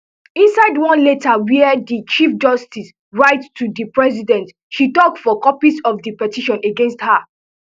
inside one letter wia di chief justice writeto di president she ask for copies of di petitions against her